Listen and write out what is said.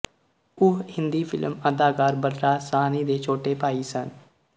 ਉਹ ਹਿੰਦੀ ਫਿਲਮ ਅਦਾਕਾਰ ਬਲਰਾਜ ਸਾਹਨੀ ਦੇ ਛੋਟੇ ਭਾਈ ਸਨ